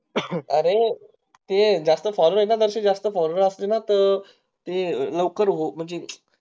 अरे ते जास्त क्षणी ना ती जास्त phone वर असती ना तर लवकर हो म्हंजी